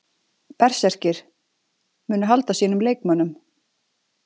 Berserkir: Munu halda sínum leikmönnum.